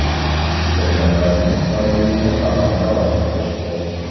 Ishlaganlarning oyligini talon-toroj qilishdi.